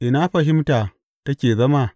Ina fahimta take zama?